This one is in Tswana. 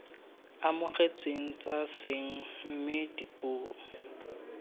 amogetsweng tsa seeng mme dipuo